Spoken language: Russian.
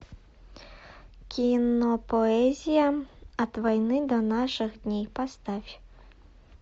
кинопоэзия от войны до наших дней поставь